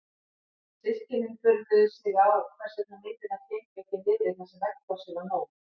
Systkinin furðuðu sig á hvers vegna myndirnar héngu ekki niðri þar sem veggplássið var nóg.